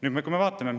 Oleme me ühel meelel?